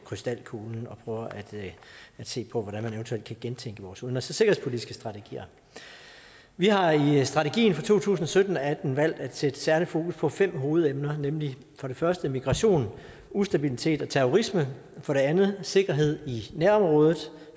krystalkuglen og prøver at se på hvordan man eventuelt kan gentænke vores udenrigs og sikkerhedspolitiske strategier vi har i strategien for to tusind og sytten til atten valgt at sætte særlig fokus på fem hovedemner nemlig for det første migration ustabilitet og terrorisme for det andet sikkerhed i nærområdet